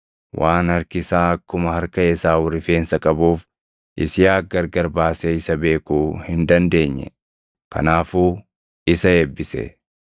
Waan harki isaa akkuma harka Esaawu rifeensa qabuuf Yisihaaq gargar baasee isa beekuu hin dandeenye; kanaafuu isa eebbise.